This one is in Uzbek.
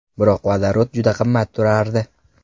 Biroq vodorod juda qimmat turardi.